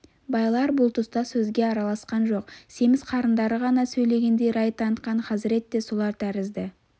байлар бұл тұста сөзге араласқан жоқ семіз қарындары ғана сөйлегендей рай танытқан хазірет те солар тәрізді